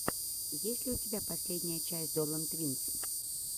есть ли у тебя последняя часть долан твинс